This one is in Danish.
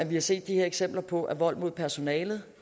vi har set de her eksempler på at vold mod personalet